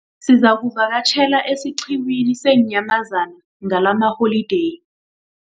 Sizakuvakatjhela esiqhiwini seenyamazana ngalamaholideyi.